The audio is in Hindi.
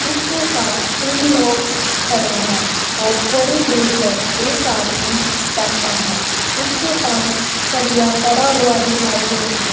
इसके पास तीन लोग खड़े हैं और थोड़ी दूर पर एक आदमी बैठा है इसके पास सरिया पड़ा हुआ दिखाई दे रहा--